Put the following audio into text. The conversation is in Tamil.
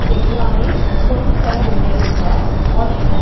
தெஹ்ரானில் கொண்டுவரவில்லையென்றால் வாஷிங்டன்